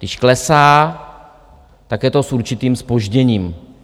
Když klesá, tak je to s určitým zpožděním.